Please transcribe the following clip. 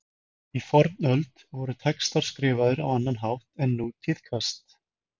Í fornöld voru textar skrifaðar á annan hátt en nú tíðkast.